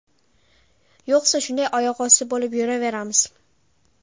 Yo‘qsa shunday oyoqosti bo‘lib yuraveramiz.